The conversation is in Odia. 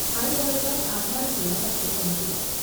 ଆଇଜର୍‌ର ଆଧାରଶିଳା ରଖୁଛନ୍ତି ।